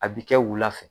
A bi kɛ wula fɛ